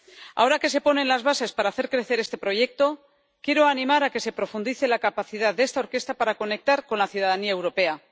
Ahora que se ponen las bases para hacer crecer este proyecto, quiero animar a que se profundice la capacidad de esta orquesta para conectar con la ciudadanía europea.